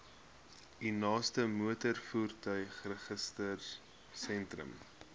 u naaste motorvoertuigregistrasiesentrum